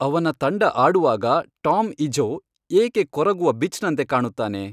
ಅವನ ತಂಡ ಆಡುವಾಗ ಟಾಮ್ ಇಝೋ ಏಕೆ ಕೊರಗುವ ಬಿಚ್ನಂತೆ ಕಾಣುತ್ತಾನೆ